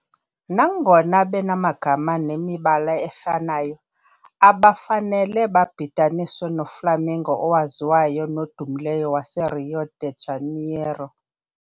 Nangona benamagama nemibala efanayo, abafanele babhidaniswe noFlamengo owaziwayo nodumileyo waseRio de Janeiro.